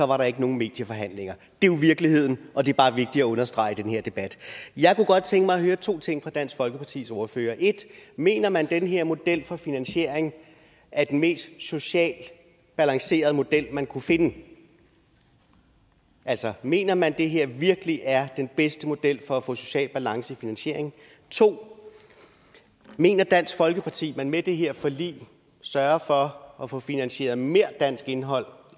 var der ikke nogen medieforhandlinger det er jo virkeligheden og det er bare vigtigt at understrege i den her debat jeg kunne godt tænke mig at høre to ting fra dansk folkepartis ordfører 1 mener man at den her model for finansiering er den mest socialt balancerede model man kunne finde altså mener man at det her virkelig er den bedste model for at få social balance i finansieringen 2 mener dansk folkeparti at man med det her forlig sørger for at få finansieret mere dansk indhold